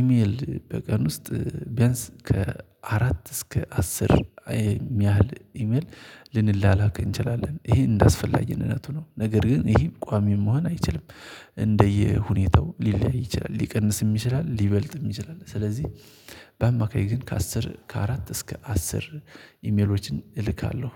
ኢሜል በቀን ውስጥ ቢያንስ ከአራት እስከ አስር የሚያህል ኢሜል ልንላላክ እንችላለን። ይሄ እንዳስፈላጊ እነነቱ ነው ነገር ግን ይሄም ቋሚ መሆን አይችልም። እንደየሁኔታው ሊለያይ ይችላል ሊቀንስም ይችላል ሊበልጥም ይችላል። ስለዚህ በአማካይ ግን ከአስር ከአራት እስከ አስር ኢሜሎችን እልካለሁ